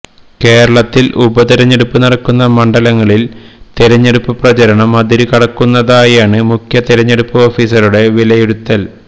കേരളത്തില് ഉപതിരഞ്ഞെടുപ്പ് നടക്കുന്ന മണ്ഡലങ്ങളില് തിരഞ്ഞെടുപ്പ് പ്രചാരണം അതിരു കടക്കുന്നതായാണ് മുഖ്യ തിരഞ്ഞെടുപ്പ് ഓഫീസറുടെ വിലയിരുത്തല്